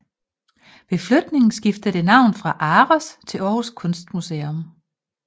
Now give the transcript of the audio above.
Ved flytning skiftede det navn til ARoS Aarhus Kunstmuseum